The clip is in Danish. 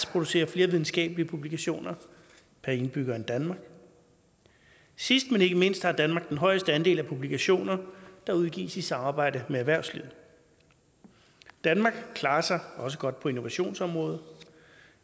producerer flere videnskabelige publikationer per indbygger end danmark sidst men ikke mindst har danmark den højeste andel af publikationer der udgives i samarbejde med erhvervslivet danmark klarer sig også godt på innovationsområdet